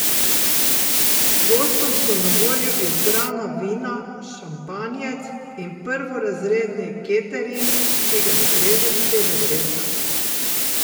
Gostom so na voljo izbrana vina, šampanjec in prvorazredni catering, ki ga streže stevardesa.